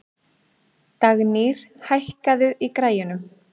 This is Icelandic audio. Dagnýr, hækkaðu í græjunum.